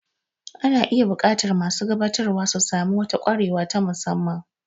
Ana iya buƙatar masu gabatarwa su sami wata kwarewa ta musamman.